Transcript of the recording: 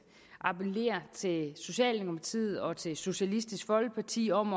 appellere til socialdemokratiet og til socialistisk folkeparti om